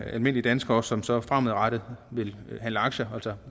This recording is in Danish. almindelige danskere som så fremadrettet vil handle aktier